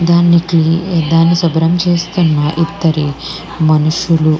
దానికి దాన్ని శుభ్రం చేస్తున్నారు ఇద్దరు మనుషులు --